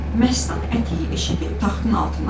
Məstan əti eşidib taxtın altından çıxdı.